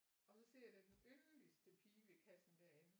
Og så ser jeg der er den billedligste pige ved kassen derinde